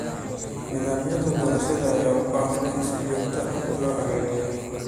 Nidaamyada doorashada ayaa u baahan in si joogto ah loo hagaajiyo.